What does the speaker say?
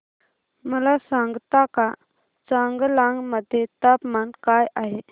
मला सांगता का चांगलांग मध्ये तापमान काय आहे